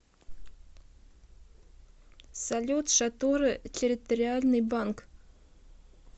салют шатура территориальный банк